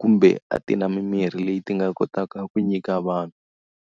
kumbe a ti na mimirhi leyi ti nga kotaka ku nyika vanhu.